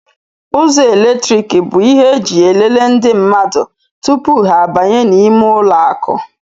Ụzọ eletriki bụ ihe eji elele ndị mmadụ tụpụ ha abanye n' ímé ụlọ akụ.